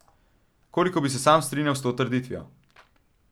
Koliko bi se sam strinjal s to trditvijo?